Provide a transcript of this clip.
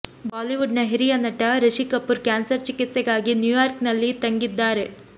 Bollywood ನ ಹಿರಿಯ ನಟ ರಿಷಿ ಕಪೂರ್ ಕ್ಯಾನ್ಸರ್ ಚಿಕಿತ್ಸೆಗಾಗಿ ನ್ಯೂಯಾರ್ಕ್ ನಲ್ಲಿ ತಂಗಿದ್ದಾರೆ